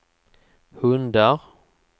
hundar